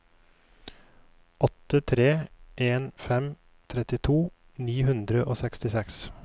åtte tre en fem trettito ni hundre og sekstiseks